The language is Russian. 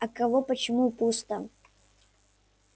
а кого почему пусто